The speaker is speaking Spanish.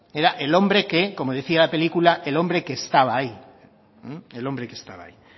que era el hombre que como decía la película el hombre que estaba ahí el hombre que estaba ahí